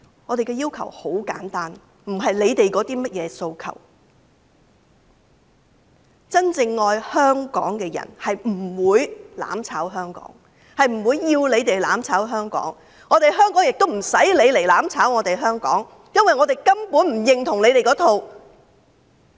我們的要求很簡單，並非他們所說的甚麼訴求，因為真正愛香港的人不會"攬炒"香港，亦不會要求其他人"攬炒"香港，香港亦不用他們"攬炒"，因為我們根本不認同這一套。